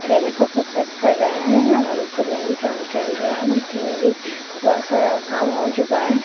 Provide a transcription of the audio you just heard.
पहले सब को पैक कर रहे है और ऊपर में भी काम चल रहा है नीचे में भी बहुत सारा काम हो चुका है।